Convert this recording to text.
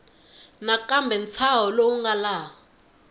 nakambe ntshaho lowu nga laha